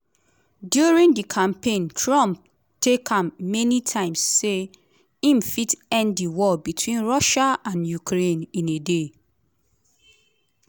during di campaign trump tak am many times say im fit end di war between russia and ukraine “in a day”.